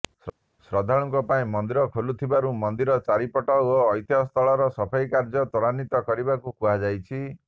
ଶ୍ରଦ୍ଧାଳୁଙ୍କ ପାଇଁ ମନ୍ଦିର ଖୋଲୁଥିବାରୁ ମନ୍ଦିର ଚାରିପଟ ଓ ଐତିହ୍ୟସ୍ଥଳର ସଫେଇ କାର୍ଯ୍ୟ ତ୍ୱାରାନ୍ୱିତ କରିବାକୁ କୁହାଯାଇଛି